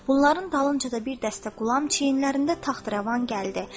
Bunların dalınca da bir dəstə qulam çiyinlərində taxtrəvan gəldi.